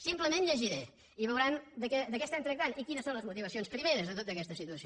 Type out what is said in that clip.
simplement llegiré i veuran de què tractem i quines són les motivacions primeres de tota aquesta situació